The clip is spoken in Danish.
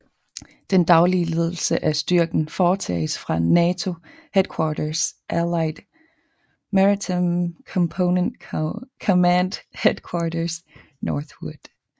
Den daglige ledelse af styrken foretages fra NATO Headquarters Allied Maritime Component Command Headquarters Northwood